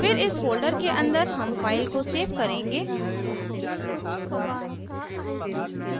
फिर इस folder के अंदर हम फ़ाइल को सेव करेंगे